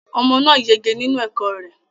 Omo náà yege nínú ẹ̀kọ́ rẹ